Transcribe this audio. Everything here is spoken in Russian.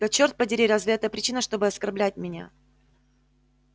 да чёрт подери разве это причина чтобы оскорблять меня